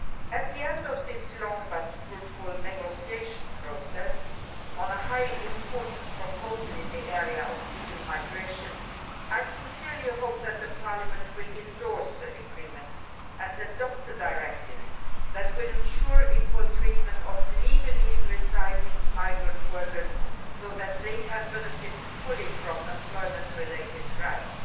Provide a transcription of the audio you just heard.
At the end of this long but fruitful negotiation process on a highly important proposal in the area of legal migration, I sincerely hope that Parliament will come to an agreement and adopt a directive that will ensure the equal treatment of legally residing migrant workers so that they can benefit fully from employment related rights.